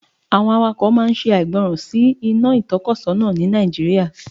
Drivers always disobey traffic light in Nigeria